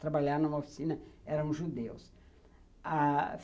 Trabalhar numa oficina eram judeus. Ah